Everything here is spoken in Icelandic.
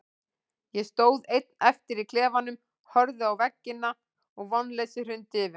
Ég stóð einn eftir í klefanum, horfði á veggina og vonleysið hrundi yfir mig.